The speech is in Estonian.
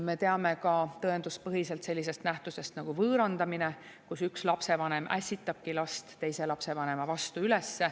Me teame ka tõenduspõhiselt sellisest nähtusest nagu võõrandamine, kus üks lapsevanem ässitab last teise lapsevanema vastu üles.